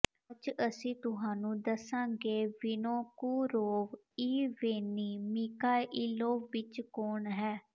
ਅੱਜ ਅਸੀਂ ਤੁਹਾਨੂੰ ਦੱਸਾਂਗੇ ਵਿਨੋਕੋੁਰੋਵ ਈਵੇਨਿੀ ਮਿਖਾਇਲੋਵਿਚ ਕੌਣ ਹੈ